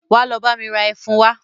Wá lọ bá mi ra Ẹfun wa